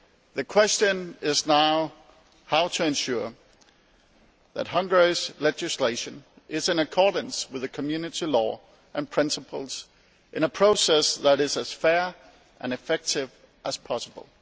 The question is now how to ensure that Hungary's legislation is in accordance with Community law and principles in a process that is as fair and effective as possible.